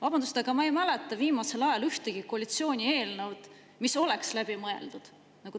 Vabandust, aga viimasest ajast ma ei mäleta ühtegi koalitsiooni eelnõu, mis oleks olnud läbi mõeldud.